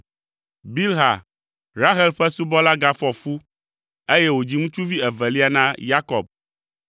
Bilha, Rahel ƒe subɔla gafɔ fu, eye wòdzi ŋutsuvi evelia na Yakob.